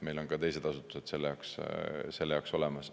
Meil on ka teised asutused selle jaoks olemas.